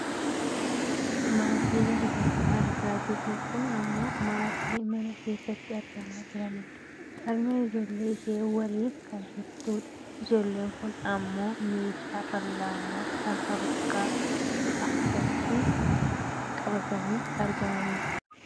Maatiin asirratti argaa jirru kun ammoo maatii mana keessatti argamaa jirani dha. Harmeen ijoollee ishee waliin kan jirtu dha. ijoolleen kun ammoo meeshaa fal'aanaa kan of harkatti qabatanii argamani dha.